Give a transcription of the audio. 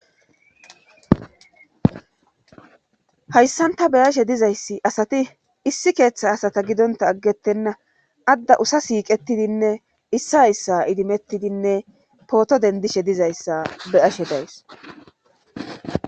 Hayssanta beyashe dizayssi asati issi keeththa asata gidonta aggettenna adda usa siiqetidinne issi hayssa idimettidinne pooto dendishe dizayssa beyashe days.